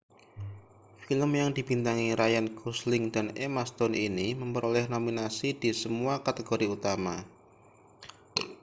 film yang dibintangi ryan gosling dan emma stone ini memperoleh nominasi di semua kategori utama